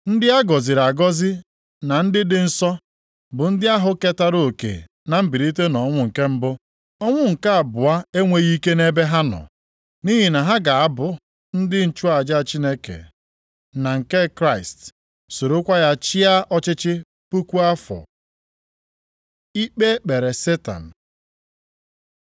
Ndị a gọziri agọzi na ndị dị nsọ bụ ndị ahụ ketara oke na mbilite nʼọnwụ nke mbụ ahụ. Ọnwụ nke abụọ enweghị ike nʼebe ha nọ, nʼihi na ha ga-abụ ndị nchụaja Chineke na nke Kraịst, sorokwa ya chịa ọchịchị puku afọ. Ikpe e kpere Setan